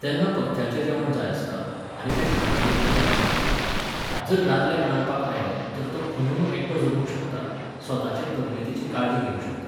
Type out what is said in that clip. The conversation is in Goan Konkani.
तेन्ना पथ्याचें जेवण जाय आसता, आनी तें खानावळींनी मेळना. जर दादल्याक रांदपाक आयलें तर तो खंयूय एकटो जगूंक शकता, स्वताचे तब्यतेची काळजी घेवंक शकता.